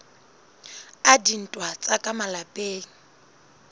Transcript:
a dintwa tsa ka malapeng